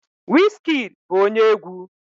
Wizkid bụ onye egwu